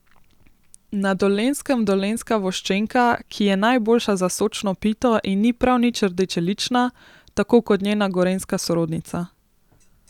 Na Dolenjskem dolenjska voščenka, ki je najboljša za sočno pito in ni prav nič rdečelična, tako kot njena gorenjska sorodnica.